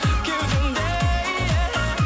кеудемде